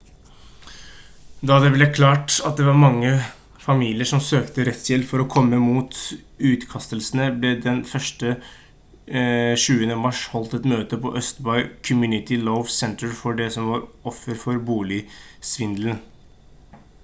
da det ble klart at det var mange familier som søkte rettshjelp for å kjempe mot utkastelsene ble det den 20. mars holdt et møte på østbay community law center for de som var offer for boligsvindelen